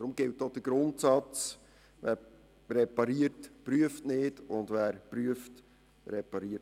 Deshalb gibt es den Grundsatz, dass wer repariert nicht prüft, und wer prüft nicht repariert.